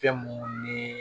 Fɛn munnu nii